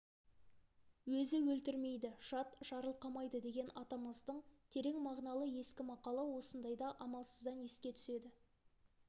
өзі өлтірмейді жат жарылқамайды деген атамыздың терең мағыналы ескі мақалы осындайда амалсыздан еске түседі